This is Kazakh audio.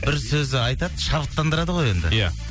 бір сөзді айтады шабыттандырады ғой енді иә